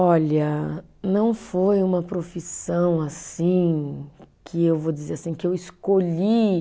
Olha, não foi uma profissão assim, que eu vou dizer assim, que eu escolhi.